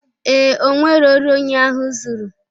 Ee,o nwero ori onye ahụ zuru